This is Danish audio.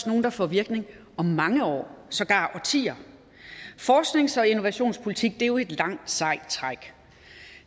nogle der får virkning om mange år sågar årtier forsknings og innovationspolitik er jo et langt sejt træk